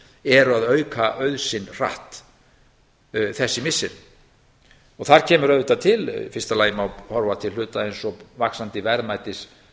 að auka auð sinn hratt þessi missiri og það kemur auðvitað til fyrsta lagi má horfa til hluta eins og vaxandi verðmætis